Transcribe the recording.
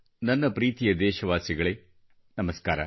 ನನ್ನ ಪ್ರೀತಿಯ ದೇಶವಾಸಿಗಳೇ ನಮಸ್ಕಾರ